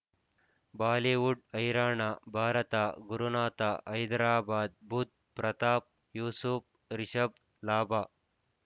Bollywood ಹೈರಾಣ ಭಾರತ ಗುರುನಾಥ ಹೈದರಾಬಾದ್ ಬುಧ್ ಪ್ರತಾಪ್ ಯೂಸುಫ್ ರಿಷಬ್ ಲಾಭ